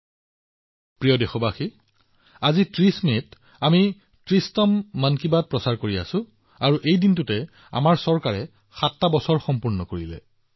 মোৰ মৰমৰ দেশবাসীসকল আজি ৩০ মেত মন কী বাতত কথা পাতিছো আৰু ঘটনাক্ৰমে এই চৰকাৰৰ ৭ম বাৰ্ষিকীৰ সময়ো আহি পৰিছে